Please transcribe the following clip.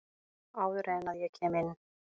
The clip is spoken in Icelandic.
Áður en að ég kem inn.